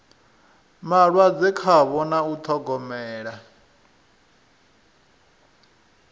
malwadze khavho na u ṱhogomela